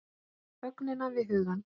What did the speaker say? Þögnina við hugann.